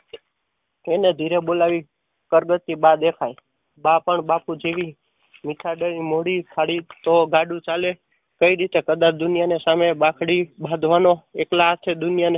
એને ઘેરે બોલાવી કરગતિ બા દેખાય. બા પણ બાપુ જેવી ગાડું ચાલે કઈ રીતે કદર દુનિયા સામે બાંકડી બાંધવાનો એકલા હાથે દુનિયા ને